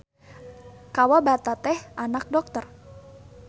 Kawabata teh anak dokter.